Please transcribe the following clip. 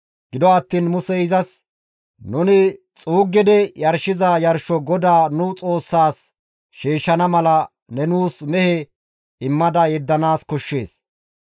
Gido attiin Musey izas, «Nuni xuuggidi yarshiza yarsho GODAA nu Xoossaas shiishshana mala mehe immada yeddanaas koshshees.